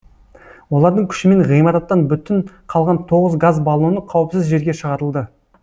олардың күшімен ғимараттан бүтін қалған тоғыз газ баллоны қауіпсіз жерге шығарылды